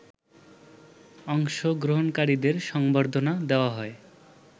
অংশগ্রহণকারীদের সংবর্ধনা দেয়া হয়